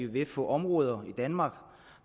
vil få områder i danmark